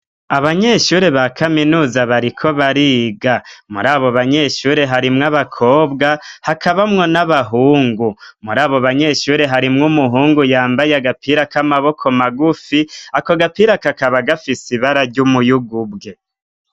Abanyeshuri ba kaminuza bariko bariga mur'abobanyeshuri harimwo abakobwa hakabamwo n'abahungu. Mur'abobanyeshuri harimwo umuhungu yambaye agapira k'amaboko magufi akogapira kakaba gafis'ibara ry'umuyugu bwe.